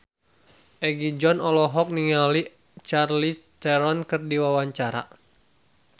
Egi John olohok ningali Charlize Theron keur diwawancara